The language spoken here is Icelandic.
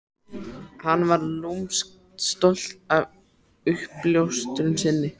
Hann var lúmskt stoltur af uppljóstrun sinni.